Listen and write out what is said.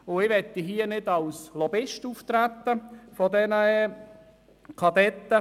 Ich möchte hier nicht als Lobbyist der Verkehrskadetten auftreten.